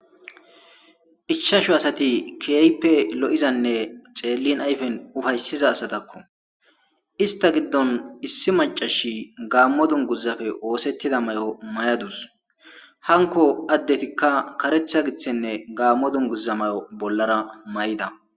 Ishshashu asati kieyppe lo'izanne xeellin ayfen ufayssiza asatakko ista giddon issi macashi gaammo dunguzafe oosettida may7o may7adus hanko addetikka karetha giththenne gaammo dunguza mayo bollara may'ida.